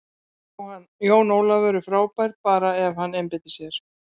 Jón Ólafur er frábær, bara ef hann einbeitir sér.